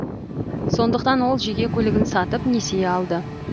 сондықтан ол жеке көлігін сатып несие алды